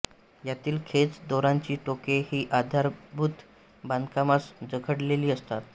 यातील खेच दोरांची टोके ही आधारभूत बांधकामास जखडलेली असतात